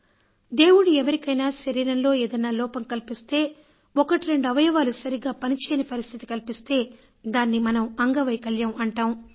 దేవుడు ఎవరికైనా శరీరంలో ఏదన్నా లోపం కల్పిస్తే ఒకటి రెండు అవయవాలు సరిగ్గా పని చేయని పరిస్థితి కల్పిస్తే దానిని మనం అంగవైకల్యం అంటాం